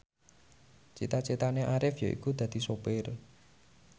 cita citane Arif yaiku dadi sopir